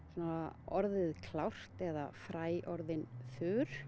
orðið klárt eða fræ orðin þurr